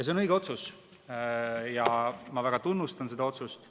See on õige otsus, ma väga tunnustan seda otsust.